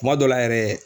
Kuma dɔ la yɛrɛ